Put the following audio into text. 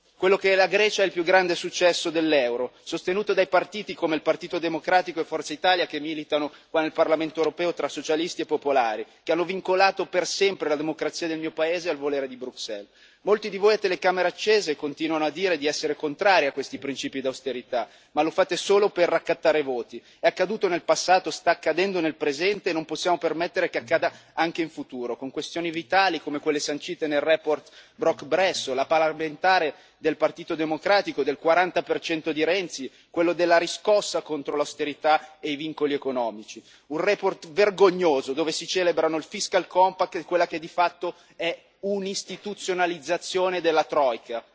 Quello che è la Grecia è il più grande successo dell'euro, sostenuta dai partiti come il Partito democratico e Forza Italia che militano nel Parlamento europeo tra socialisti e popolari, che hanno vincolato per sempre la democrazia del mio paese al volere di Bruxelles. Molti di voi a telecamere accese continuano a dire di essere contrari a questi principi di austerità ma lo fate solo per raccattare voti è accaduto nel passato, sta accadendo nel presente e non possiamo permettere che accada anche in futuro con questioni vitali come quelle sancite nella relazione Brok Bresso, la parlamentare del Partito democratico del 40 di Renzi, quello della riscossa contro l'austerità e i vincoli economici, una relazione vergognosa, dove si celebrano il fiscal compact e quella che di fatto è un'istituzionalizzazione della troika.